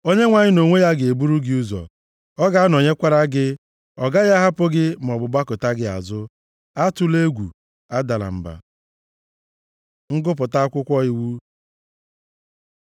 Onyenwe anyị nʼonwe ya ga-eburu gị ụzọ, ọ ga-anọnyekwara gị, ọ gaghị ahapụ gị maọbụ gbakụta gị azụ. Atụla egwu, adala mba.” Ngụpụta akwụkwọ iwu